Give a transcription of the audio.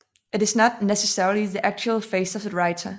It is not necessarily the actual face of the writer